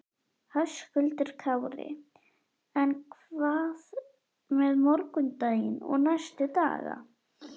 Höskuldur Kári: En hvað með morgundaginn og næstu daga?